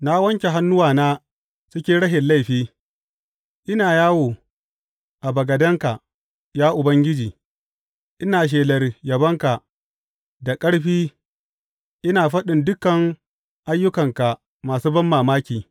Na wanke hannuwana cikin rashin laifi, ina yawo a bagadenka Ya Ubangiji, ina shelar yabonka da ƙarfi ina faɗin dukan ayyukanka masu banmamaki.